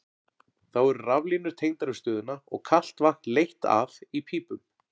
Þá eru raflínur tengdar við stöðina og kalt vatn leitt að í pípum.